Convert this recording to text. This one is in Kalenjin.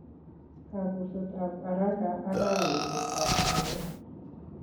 Kapuset ap araka akkawechet ap konyek